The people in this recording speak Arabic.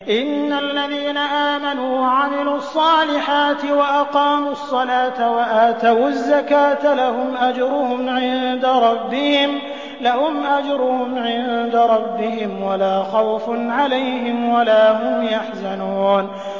إِنَّ الَّذِينَ آمَنُوا وَعَمِلُوا الصَّالِحَاتِ وَأَقَامُوا الصَّلَاةَ وَآتَوُا الزَّكَاةَ لَهُمْ أَجْرُهُمْ عِندَ رَبِّهِمْ وَلَا خَوْفٌ عَلَيْهِمْ وَلَا هُمْ يَحْزَنُونَ